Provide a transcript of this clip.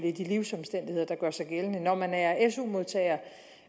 i de livsomstændigheder der gør sig gældende når man er su modtager